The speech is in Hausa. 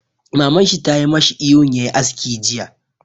Maman shi tayi mashi ihun ya yi aski jiya!